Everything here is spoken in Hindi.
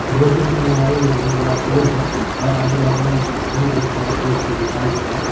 रोड के किनारे एक बहुत बड़ा पेड़ है और आजू-बाजू में भी बहुत सारा पेड़ को दिखाया गया है।